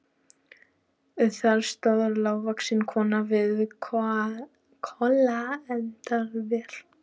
Þar stóð lágvaxin kona við kolaeldavél.